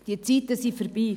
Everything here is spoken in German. Diese Zeiten sind vorbei.